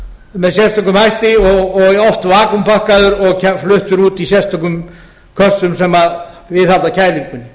með sérstökum hætti og oft vakúmpakkaður og fluttur út í sérstökum kössum sem viðhalda kælingunni kælitæknin er